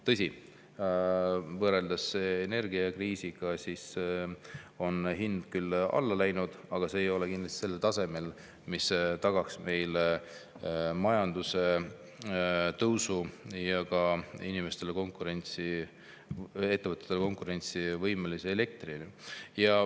Tõsi, võrreldes energiakriisi ajaga on hind küll alla läinud, aga see ei ole kindlasti sellel tasemel, mis tagaks meil majanduse tõusu ja ka inimestele ja ettevõtetele konkurentsivõimelise hinnaga elektri.